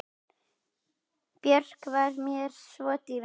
Björk var mér svo dýrmæt.